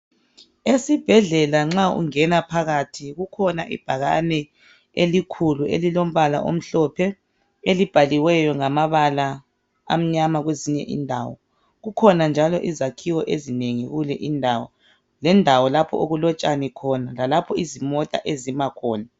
Esibhedlela nxa ungena phakathi kukhona ibhakane elikhulu elilombala omhlophe elibhaliweyo ngamabala amnyama kwezinye indawo kukhona njalo izakhiwo ezinengi kule indawo lendawo lapho okulotshani khona lalapho izimota ezima khona.